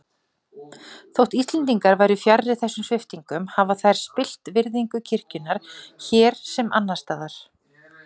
Þótt Íslendingar væru fjarri þessum sviptingum hafa þær spillt virðingu kirkjunnar hér sem annars staðar.